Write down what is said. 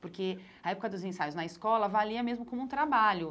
Porque a época dos ensaios na escola valia mesmo como um trabalho.